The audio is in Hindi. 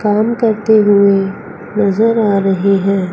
काम करते हुए नजर आ रही हैं।